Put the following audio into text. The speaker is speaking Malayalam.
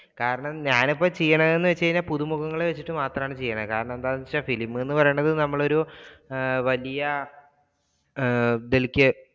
കാരണം ഞാൻ ഇപ്പോ ചെയ്യുന്നത് എന്ന് വെച്ച് കഴിഞ്ഞാൽ പുതു മുഖങ്ങളെ വെച്ചിട്ട് മാത്രമാണ് ചെയ്യുന്നത് കാരണം എന്താണെന്ന് വെച്ച film എന്ന് പറയുന്നത് നമ്മൾ ഒരു വലിയ